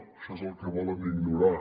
això és el que volen ignorar